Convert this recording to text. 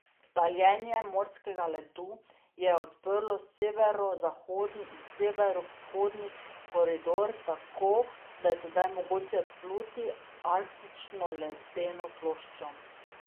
Taljenje morskega ledu je odprlo severozahodni in severovzhodni koridor, tako da je sedaj mogoče obpluti arktično ledeno ploščo.